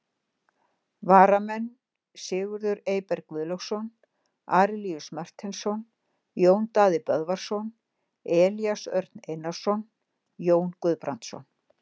Varamenn: Sigurður Eyberg Guðlaugsson, Arilíus Marteinsson, Jón Daði Böðvarsson, Elías Örn Einarsson, Jón Guðbrandsson.